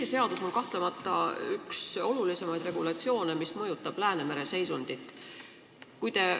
Veeseadus on kahtlemata üks olulisimaid regulatsioone, mis mõjutab Läänemere seisundit.